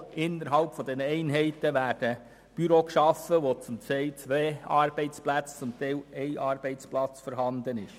Innerhalb dieser Einheiten werden Büros geschaffen werden, in welchen zum Teil ein, zum Teil zwei Arbeitsplätze vorhanden sein werden.